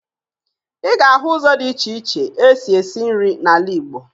Ị ga-ahụ ụzọ dị iche iche e si esi nri n'ala Igbo